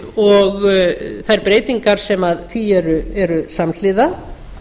og þær breytingar sem því eru samhliða